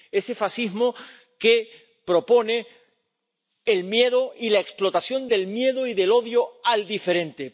Ese fascismo que propone el miedo y la explotación del miedo y del odio al diferente.